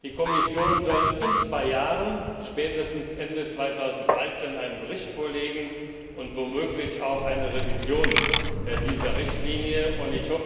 Die Kommission soll in zwei Jahren spätestens 2013 einen Bericht vorlegen und womöglich auch eine Revision dieser Richtlinie vorschlagen.